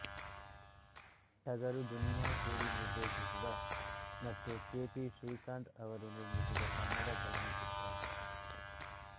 ಟಗರು ದುನಿಯಾ ಸೂರಿ ನಿರ್ದೇಶಿಸಿದ ಮತ್ತು ಕೆ ಪಿ ಶ್ರೀಕಾಂತ್ ಅವರು ನಿರ್ಮಿಸಿದ ಕನ್ನಡ ಚಲನಚಿತ್ರ